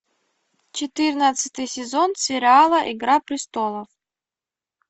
четырнадцатый сезон сериала игра престолов